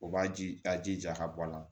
O b'a ji a jija ka bɔ a la